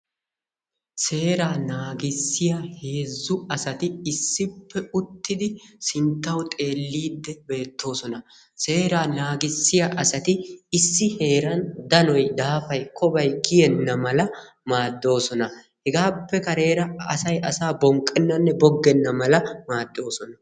Seeraa naagissiya heezzu asati issippe uttidi sinttawu xeelliiddi beettoosona. Seeraa naagissiya asati issi heeran danoy, daafay, Kobay kiyenna mala maaddoosona. Hegaappe kareera asay asaa bonqqennanne boggenna mala maaddoosona.